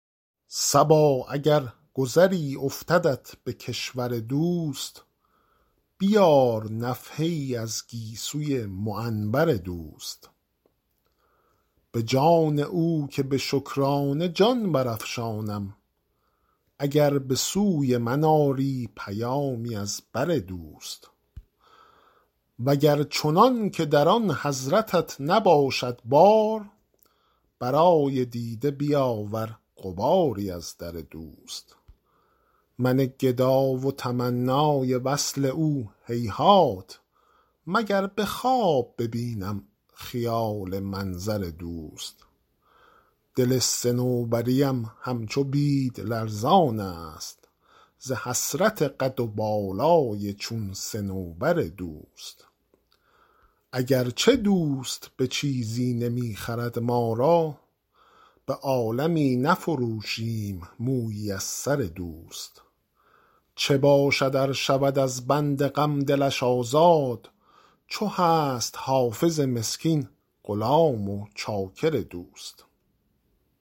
صبا اگر گذری افتدت به کشور دوست بیار نفحه ای از گیسوی معنبر دوست به جان او که به شکرانه جان برافشانم اگر به سوی من آری پیامی از بر دوست و گر چنان که در آن حضرتت نباشد بار برای دیده بیاور غباری از در دوست من گدا و تمنای وصل او هیهات مگر به خواب ببینم خیال منظر دوست دل صنوبری ام همچو بید لرزان است ز حسرت قد و بالای چون صنوبر دوست اگر چه دوست به چیزی نمی خرد ما را به عالمی نفروشیم مویی از سر دوست چه باشد ار شود از بند غم دلش آزاد چو هست حافظ مسکین غلام و چاکر دوست